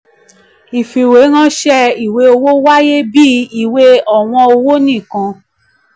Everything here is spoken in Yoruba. ìfìwéránṣẹ́ ìwé owó wáyé bíi ìwé ọ̀wọ́n owó nìkan.